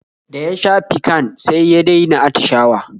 Da ya sha piccan sai ya dai na attishawa